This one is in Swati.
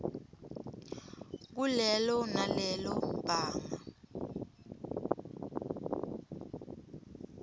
kulelo nalelo banga